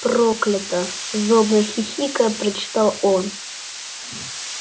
проклято злобно хихикая прочитал он